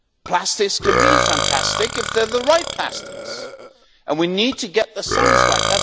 Plastics can be fantastic if they're the right plastics, and we need to get the science right.